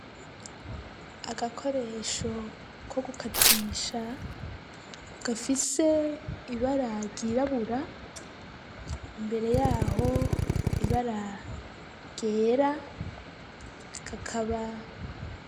Agakoresho ko gukatisha ,gafise ibara ryirabura, imbere yaho ibara ryera kakaba....